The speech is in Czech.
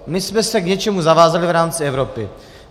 My jsme se k něčemu zavázali v rámci Evropy.